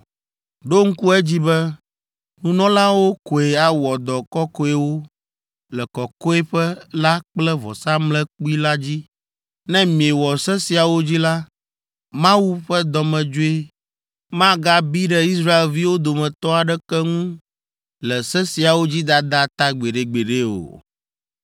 “Ɖo ŋku edzi be, nunɔlawo koe awɔ dɔ kɔkɔewo le kɔkɔeƒe la kple vɔsamlekpui la dzi. Ne miewɔ se siawo dzi la, Mawu ƒe dɔmedzoe magabi ɖe Israelviwo dometɔ aɖeke ŋu le se siawo dzi dada ta gbeɖegbeɖe o.